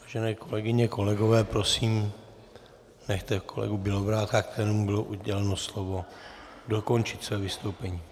Vážené kolegyně, kolegové, prosím, nechte kolegu Bělobrádka, kterému bylo uděleno slovo, dokončit své vystoupení.